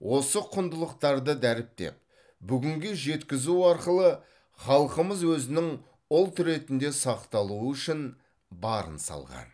осы құндылықтарды дәріптеп бүгінге жеткізу арқылы халқымыз өзінің ұлт ретінде сақталуы үшін барын салған